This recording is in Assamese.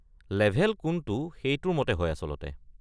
লেভেল কোনটো সেইটোৰ মতে হয় আচলতে।